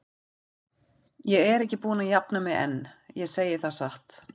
Ég er ekki búin að jafna mig enn, ég segi það satt.